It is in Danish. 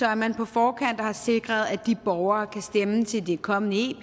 er man på forkant og har sikret at de borgere kan stemme til det kommende ep